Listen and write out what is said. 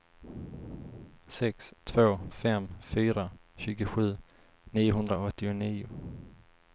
sex två fem fyra tjugosju niohundraåttionio